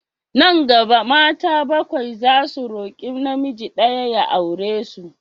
Nan gaba, mata bakwai zasu roƙi namiji ɗaya ya aure su.